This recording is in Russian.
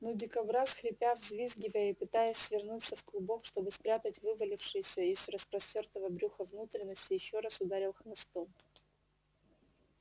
но дикобраз хрипя взвизгивая и пытаясь свернуться в клубок чтобы спрятать вывалившиеся из распоротого брюха внутренности ещё раз ударил хвостом